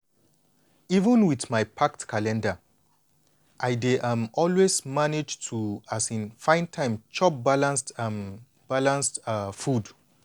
even with my packed calendar i dey um always manage to um find time chop my balanced um balanced um food.